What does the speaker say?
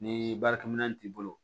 Ni baarakɛminɛn t'i bolo